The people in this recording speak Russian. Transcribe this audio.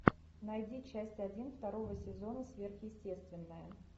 найди часть один второго сезона сверхъестественное